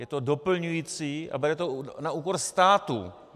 Je to doplňující a bere to na úkor státu.